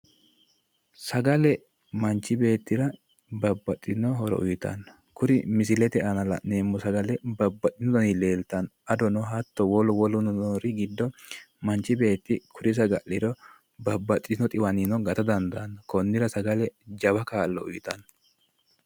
sagale manchi beettira babbaxitino horo uyiitanno kuri misilete aana la'neemmo sagale babbaxitino daniti leeltanno adono hatto wolu woluno noori giddo manchi beetti kuri saga'liro babbaxitino xiwaninnino gata dandaanno konnira sagale jawa kaa'lo uyiitanno.